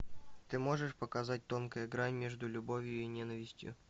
ты можешь показать тонкая грань между любовью и ненавистью